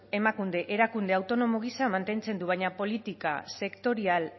emakunde erakunde autonomo gisa mantentzen du baina politika sektorial